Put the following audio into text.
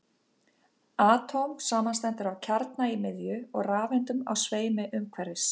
atóm samanstendur af kjarna í miðju og rafeindum á sveimi umhverfis